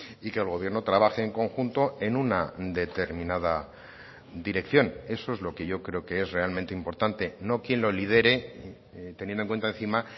y que el gobierno trabaje en conjunto en una determinada dirección eso es lo que yo creo que es realmente importante no quién lo lidere teniendo en cuenta encima